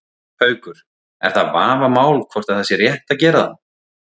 Haukur: Er það vafamál hvort að það sé rétt að gera það?